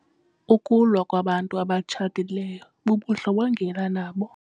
Ukulwa kwabantu abatshatileyo bubundlobongela nabo.